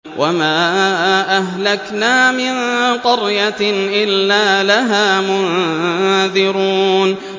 وَمَا أَهْلَكْنَا مِن قَرْيَةٍ إِلَّا لَهَا مُنذِرُونَ